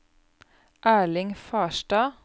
Erling Farstad